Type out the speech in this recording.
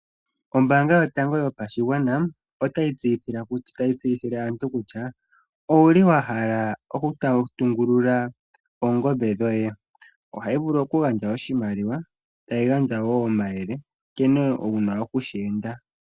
Ombaanga yotango yopashigwana, otayi tseyithile aantu kutya; owu li wa hala oku tungulula oongombe dhoye? Oyi li hayi gandja oshimaliwa, tayi gandja wo omayele nkene wu na okushi enda.